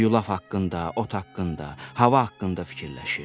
O yulaf haqqında, ot haqqında, hava haqqında fikirləşir.